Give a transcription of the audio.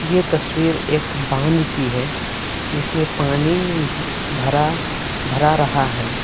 यह तस्वीर एक बांध की है जिसमें पानी भरा भरा रहा है।